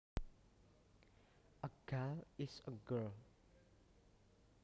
A gal is a girl